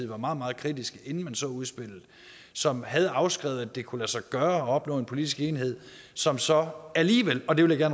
var meget meget kritisk inden man så udspillet som havde afskrevet at det kunne lade sig gøre at opnå en politisk enighed som så alligevel og det vil jeg